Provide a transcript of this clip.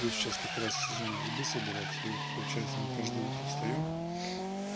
просто сейчас как раз сезон грибы собирать и вот получается мы каждое утро встаём